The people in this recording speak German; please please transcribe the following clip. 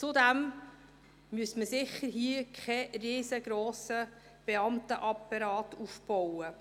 Zudem müsste man hier sicher keinen riesengrossen Beamtenapparat aufbauen.